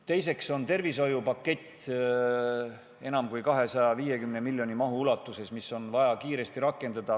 Teiseks on tervishoiupakett, mille maht on enam kui 250 miljonit eurot ja mida on samuti vaja kiiresti rakendada.